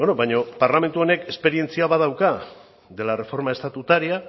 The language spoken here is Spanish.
baina parlamentu honek esperientzia badauka de la reforma estatutaria